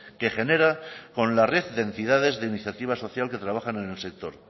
que genera con la red de entidades de iniciativa social que trabajan en el sector